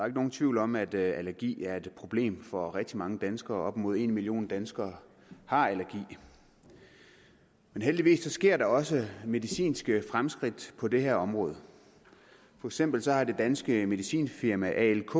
ikke nogen tvivl om at allergi er et problem for rigtig mange danskere op imod en million danskere har allergi men heldigvis sker der også medicinske fremskridt på det her område for eksempel har det danske medicinfirma alk